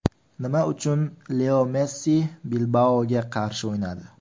Nima uchun Leo Messi Bilbao‘ga qarshi o‘ynadi?